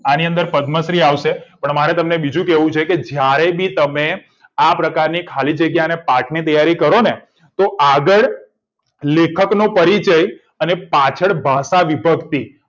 આની અંદર પદ્મ શ્રી આવશે મારે તમને બીજું કેવું છે કે જયારે બી તમે આ પ્રકારની પાઠની તૈયારી કરોને તો આગળ લેખકનો પરિચય અને પાછળ ભાષા વિભક્તિ